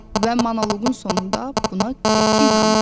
Və monoqonun sonunda buna qəti inandı.